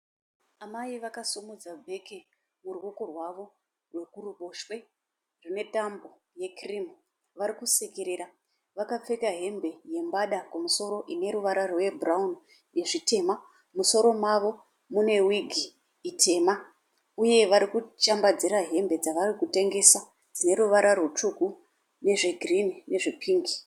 Amai vakasimudza bheke muruoko rwawo rwe kuruboshwe ine Tambo yekirimu varikusekerera vakapfeka hembe yembada kumusoro ineruvara rwebhurauni nezvitema mumusoro mavo mune wigi itema uye warikushambadzira hembe dzavarikutengesa dzine ruvara rutsvuku nezvegirini nezvepingi